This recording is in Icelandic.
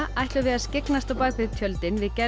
ætlum við að skyggnast á bak við tjöldin við gerð